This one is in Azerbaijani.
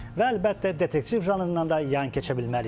Və əlbəttə detektiv janrından da yan keçə bilmərik.